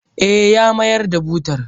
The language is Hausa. Eh, ya mayar da butar.